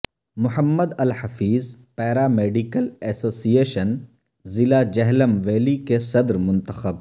محمد Alhafeez paramedical association ضلع Jhelum valley کے صدر منتخب